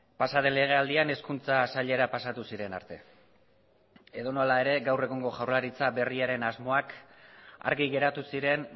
pasa den legealdian hezkuntza sailera pasatu ziren arte edonola ere gaur egungo jaurlaritza berriaren asmoak argi geratu ziren